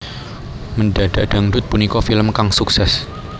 Mendadak Dangdut punika film kang sukses